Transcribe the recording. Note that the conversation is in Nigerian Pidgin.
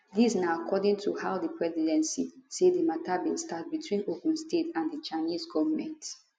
dis na according to how di presidency say di matter bin start between ogun state and di chinese goment